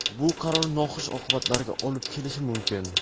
bu qaror noxush oqibatlarga olib kelishi mumkin.